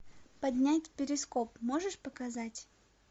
поднять перископ можешь показать